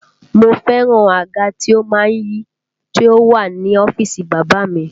Mo fẹ́ràn àga to má ń yí tí ó wà ní ọ́fíìsì bàbá a mi